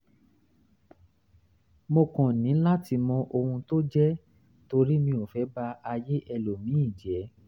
mo kàn ní láti mọ ohun tó jẹ́ torí mi ò fẹ́ ba ayé ẹlòmíì jẹ́